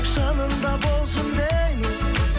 жаныңда болсын деймін